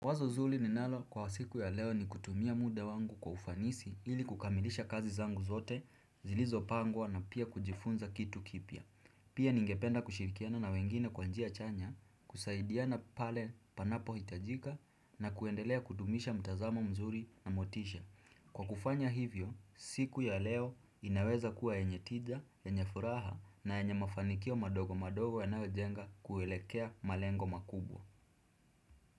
Wazo zuri ninalo kwa siku ya leo ni kutumia muda wangu kwa ufanisi ili kukamilisha kazi zangu zote zilizo pangwa na pia kujifunza kitu kipya. Pia ningependa kushirikiana na wengine kwa njia chanya, kusaidiana pale panapo hitajika na kuendelea kudumisha mtazamo mzuri na motisha. Kwa kufanya hivyo, siku ya leo inaweza kuwa enye tija, enye furaha na enye mafanikio madogo madogo yanayo jenga kuelekea malengo makubwa.